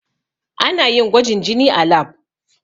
Ana yin gwajin jini a lab.